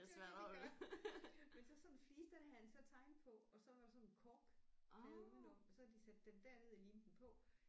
Ja men så sådan en flise der havde han så tegnet på og så var der sådan en korkkæde uden om og så havde de sat den derned og limet den på